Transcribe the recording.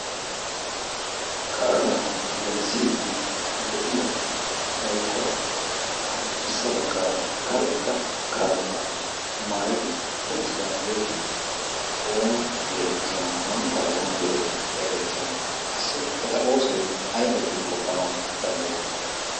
qaalaa gelssidi de'iya woykko addirssa baggaara karetta kaabbaa maayidi ottidaageeti oona geetettiyoonaa manttaa oona geetetti xeegettiyoona qassi eta oosoy ay baggidi qoppanawu danddayettii?